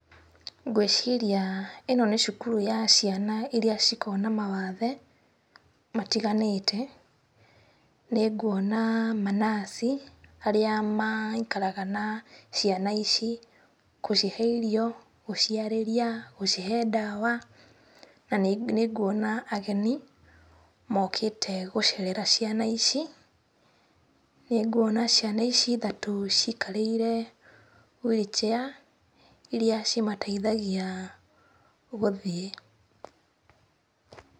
Ngwĩciria ĩno nĩ cukuru ya ciana iria cikoragwo na mawathe matiganĩte. Nĩnguona manaci, arĩa maikaraga na ciana ici, gũcihe irio gũciarĩria, gũcihe ndawa na nĩnguona ageni mokĩte gũcerera ciana ici. Nĩnguona ciana ici ithatũ cikarĩire wheel chair iria cimateithagia gũthiĩ.